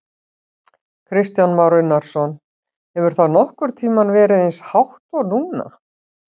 Kristján Már Unnarsson: Hefur það nokkurn tímann verið eins hátt og núna?